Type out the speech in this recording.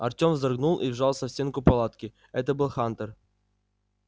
артём вздрогнул и вжался в стенку палатки это был хантер